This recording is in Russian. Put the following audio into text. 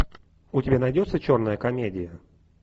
у тебя найдется черная комедия